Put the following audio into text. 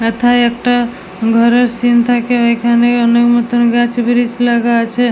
এথায় একটা ঘরের সিন্ থাকে এখানে অনেক মতন গাছ ব্রীজ লাগা আছে।